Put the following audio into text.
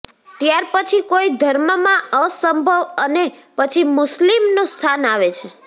ત્યાર પછી કોઈ ધર્મમાં અસંભવ અને પછી મુસ્લિમનું સ્થાન આવે છે